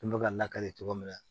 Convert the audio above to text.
Kun bɛ ka lakali cogo min na